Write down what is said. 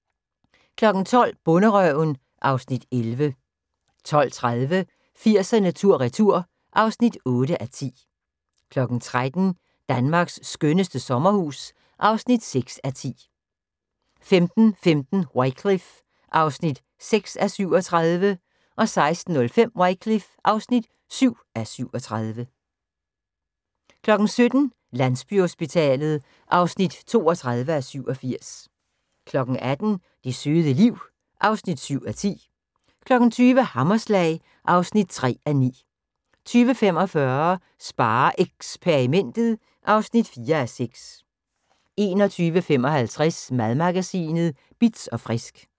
12:00: Bonderøven (Afs. 11) 12:30: 80'erne tur retur (8:10) 13:00: Danmarks skønneste sommerhus (6:10) 15:15: Wycliffe (6:37) 16:05: Wycliffe (7:37) 17:00: Landsbyhospitalet (32:87) 18:00: Det søde liv (7:10) 20:00: Hammerslag (3:9) 20:45: SpareXperimentet (4:6) 21:55: Madmagasinet Bitz & Frisk